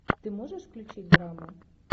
ты можешь включить драму